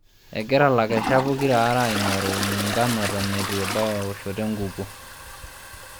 Egira lakeshak pokita aare aingoru muungano eton eitu ebau ewoshoto enkukuo.